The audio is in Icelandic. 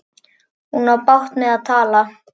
Hún á bágt með að tala.